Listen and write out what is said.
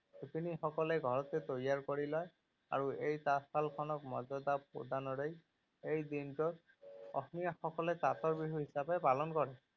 শিপিনী সকলে ঘৰতে তৈয়াৰ কৰি লয় আৰু এই তাঁতশাল খনক মৰ্যাদা প্ৰদানৰে এই দিনটোত অসমীয়া সকলে তাঁতৰ বিহু হিচাপে পালন কৰে।